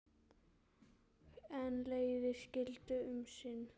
En leiðir skildu um sinn.